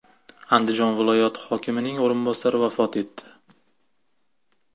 Andijon viloyati hokimining o‘rinbosari vafot etdi.